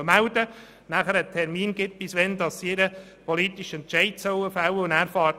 Weiter soll den Gemeinden ein Termin angegeben werden, bis wann sie ihren politischen Entscheid fällen sollen.